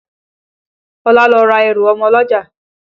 Ọlá lọ ra ẹrù ọmọ lọ́jà